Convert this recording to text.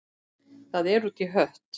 Það er út í hött.